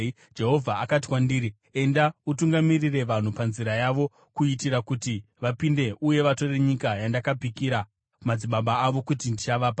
Jehovha akati kwandiri, “Enda, utungamirire vanhu panzira yavo, kuitira kuti vapinde uye vatore nyika yandakapikira madzibaba avo kuti ndichavapa.”